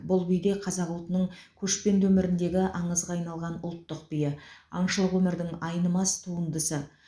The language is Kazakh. бұл би де қазақ ұлтының көшпенді өміріндегі аңызға айналған ұлттық биі аңшылық өмірдің айнымас туындысы